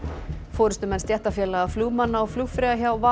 forystumenn stéttarfélaga flugmanna og flugfreyja hjá